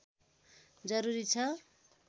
जरुरी छ